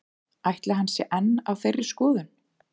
Ætli hann sé enn á þeirri skoðun?